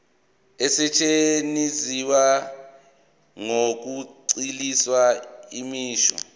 asetshenziswa ngokugculisayo imisho